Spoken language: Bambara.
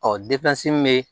Ɔ min bɛ